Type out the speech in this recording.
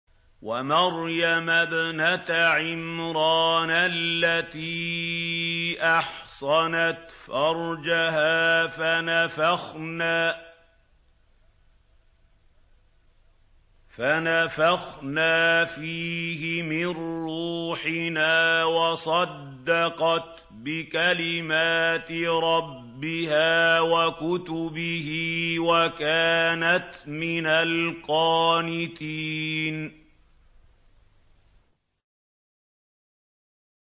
وَمَرْيَمَ ابْنَتَ عِمْرَانَ الَّتِي أَحْصَنَتْ فَرْجَهَا فَنَفَخْنَا فِيهِ مِن رُّوحِنَا وَصَدَّقَتْ بِكَلِمَاتِ رَبِّهَا وَكُتُبِهِ وَكَانَتْ مِنَ الْقَانِتِينَ